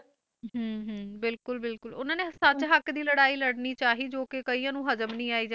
ਹਮ ਹਮ ਬਿਲਕੁਲ ਬਿਲਕੁਲ ਉਹਨਾਂ ਨੇ ਸੱਚ ਹੱਕ ਦੀ ਲੜਾਈ ਲੜਨੀ ਚਾਹੀ ਜੋ ਕਿ ਕਈਆਂ ਨੂੰ ਹਜ਼ਮ ਨੀ ਆਈ ਜਾਂ